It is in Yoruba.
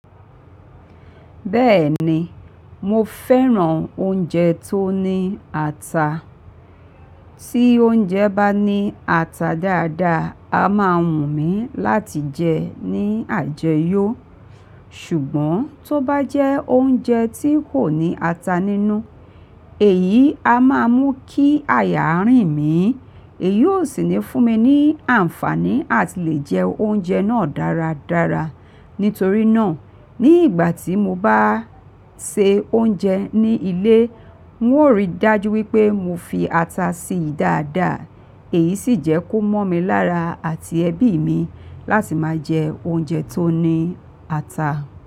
Bẹ́ẹ̀ni, mo fẹ́ràn oúnjẹ tó ní ata. Tí oúnjẹ bá ní ata dáadáa, a máa wù mí láti jẹ ẹ́ ní àjẹyọ̀. Ṣùgbọ́n tó bá jẹ́ oúnjẹ tí kò ní ata nínú, èyí a máa mú kí aya rìn mí. Èyí ó sì níí fún mi ní àǹfààní láti lè jẹ oúnjẹ náà dáradára. Nítorí náà, ní ìgbà tí mo bá ṣe oúnjẹ ní ilé, n ó rí i dájú wípé mo fi ata síi dáadáa. Èyí sì jẹ́ kó mọ́ mi lára àti ẹbí mi láti máa jẹ oúnjẹ tó ní ata.